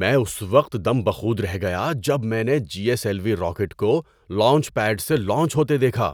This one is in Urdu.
میں اس وقت دم بخود رہ گیا جب میں نے G S L V rocket کو لانچ پیڈ سے لانچ ہوتے دیکھا